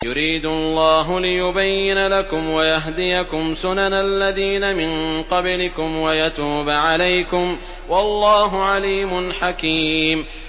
يُرِيدُ اللَّهُ لِيُبَيِّنَ لَكُمْ وَيَهْدِيَكُمْ سُنَنَ الَّذِينَ مِن قَبْلِكُمْ وَيَتُوبَ عَلَيْكُمْ ۗ وَاللَّهُ عَلِيمٌ حَكِيمٌ